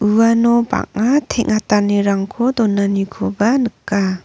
uano bang·a teng·atanirangko donanikoba nika.